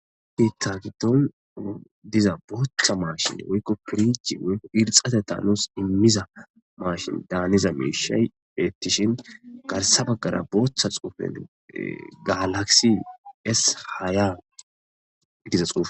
Biitta giddon diza booththa maashshin woykko piriji woykko irxxateta nuus immiza maashin daaniza miishshay beettishin garssa baggara booththa xuufen galaksi es haya giza xuufe